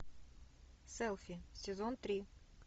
селфи сезон три